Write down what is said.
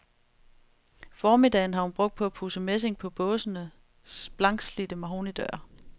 Formiddagen har hun brugt på at pudse messingen på båsenes blankslidte mahognidøre.